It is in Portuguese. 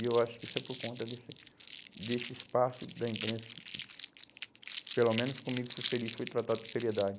E eu acho que isso é por conta desse desse espaço da imprensa que que, pelo menos comigo, fui feliz, fui tratado com seriedade.